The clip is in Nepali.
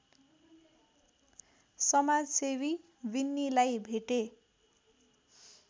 समाजसेवी विन्नीलाई भेटे